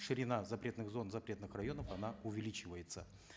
ширина запретных зон запретных районов она увеличивается